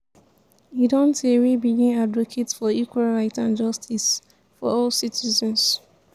e don tey wey begin advocate for equal right and justice for all citizens.